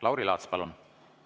Lauri Laats, palun!